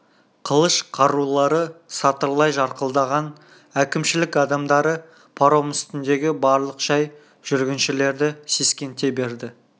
қылыш қарулары сатырлай жарқылдаған әкімшілік адамдары паром үстіндегі барлық жай жүргіншілерді сескенте берді